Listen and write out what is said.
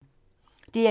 DR1